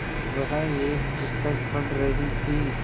वह एक पुस्तक पढ़ रहीं थी